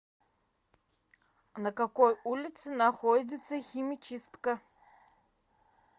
на какой улице находится химчистка